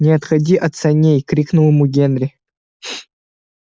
не отходи от саней крикнул ему генри